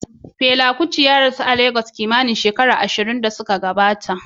Fela Onikulafo Kuti ya rasu Legas kimanin shekaru ashirin da suka gabata.